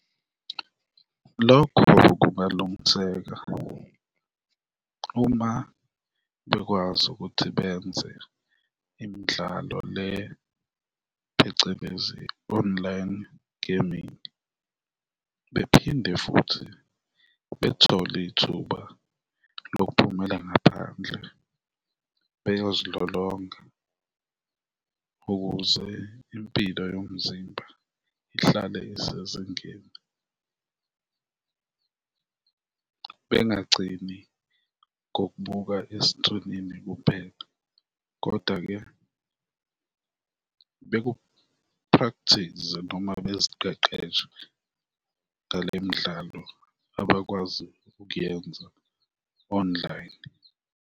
Lokho kungalungiseka uma bekwazi ukuthi benze imidlalo le, phecelezi online gaming bephinde futhi bethole ithuba lokuphumela ngaphandle beyozilolonga ukuze impilo yomzimba ihlale isezingeni. Bengagcini ngokubuka eskrinini kuphela kodwa-ke beku-practise-e noma beziqeqeshe ngale midlalo abakwazi ukuyenza online.